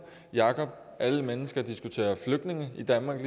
jacob alle mennesker diskuterer flygtninge i danmark